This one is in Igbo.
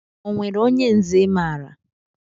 Onwere onye nze I maara?